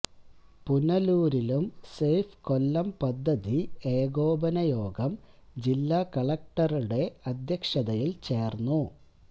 പുനലൂരിലും safe Kollam പദ്ധതി ഏകോപന യോഗം ജില്ലാ കലക്ടറുടെ അധ്യക്ഷതയില് ചേര്ന്നു